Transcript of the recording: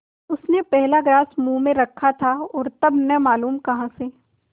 उसने पहला ग्रास मुँह में रखा और तब न मालूम कहाँ से